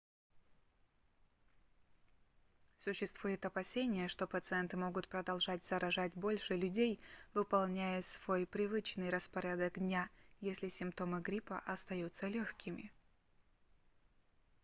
существует опасение что пациенты могут продолжать заражать больше людей выполняя свой привычный распорядок дня если симптомы гриппа остаются лёгкими